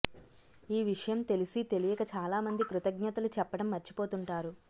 ఈ విషయం తెలిసీ తెలియక చాలా మంది కృతజ్ఞతలు చెప్పడం మర్చిపోతుంటారు